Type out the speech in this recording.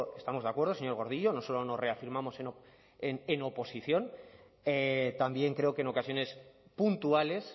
estamos de acuerdo señor gordillo no solo nos reafirmamos en oposición también creo que en ocasiones puntuales